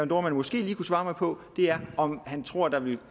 dohrmann måske lige kunne svare mig på er om han tror at der vil